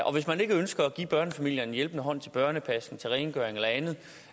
og hvis man ikke ønsker at give børnefamilier en hjælpende hånd til børnepasning rengøring eller andet